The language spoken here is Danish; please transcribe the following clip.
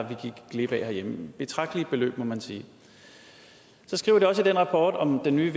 vi gik glip af herhjemme betragtelige beløb må man sige så skriver de også i den rapport om den nye